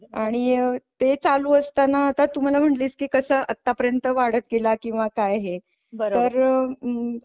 आणि ते चालू असताना आता तू मला म्हणालीस की कस आता पर्यंत वाढत गेला किंवा काय आहे बरोबर तर?